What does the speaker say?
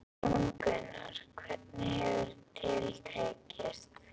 Jón Gunnar, hvernig hefur til tekist?